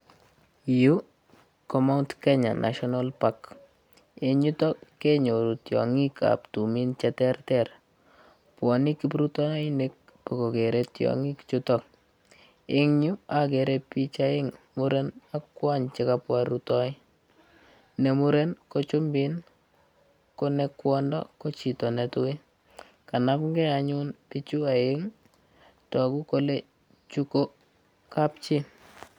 Yu ko Mount Kenya National Park. Eng yutok kenyoru tiongikab tumin cheterter. Bwanei kiprutoinik bogogere tiongik chutok. Eng yu, agere bich aeng, muren ak kwony che kabwa rutoi. Ne muren ko chumbin, ko ne kwondo ko chito netui. Kanamnge anyun pichu aeng, tagu kole chu ko kapchi.